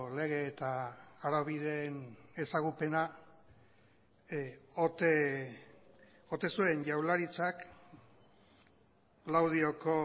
lege eta araubideen ezagupena ote zuen jaurlaritzak laudioko